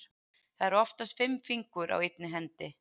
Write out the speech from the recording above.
Það eru oftast fimm fingur á einni hendi.